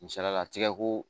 Misaliyala tigɛ ko